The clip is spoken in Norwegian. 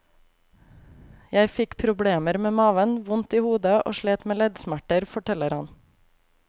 Jeg fikk problemer med maven, vondt i hodet og slet med leddsmerter, forteller han.